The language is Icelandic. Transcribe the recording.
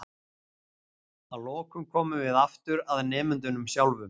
Að lokum komum við aftur að nemendunum sjálfum.